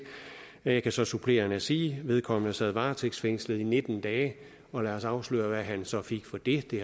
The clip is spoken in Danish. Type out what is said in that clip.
jeg kan så supplerende sige at vedkommende sad varetægtsfængslet i nitten dage og lad os afsløre hvad han så fik for det det